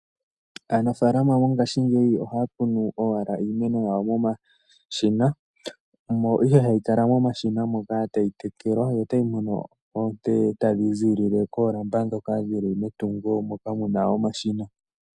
Aanafalama mongashingeyi ohaya kunu owala iimeno yawo momashina, omo ihe hayi kala momashina moka, tayi tekelwa yo tayi mono oonte tadhi ziilile koolamba dhoka dhili metungo moka muna omashina.